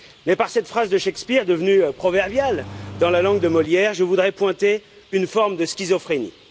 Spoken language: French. Mais par cette phrase de Shakespeare, devenue proverbiale dans la langue de Molière, je voudrais pointer une forme de schizophrénie.